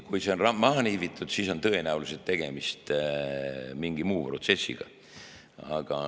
Kui see on maha lihvitud, siis on tõenäoliselt tegemist mingi muu protsessiga.